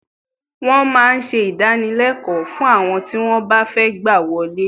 Wọ́n máa ń ṣe ìdánilékòó fún àwọn tí wọ́n bá fẹ́ gbà wọlé